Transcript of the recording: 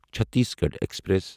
Chhattisgarh express